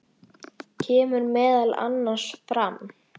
kemur meðal annars fram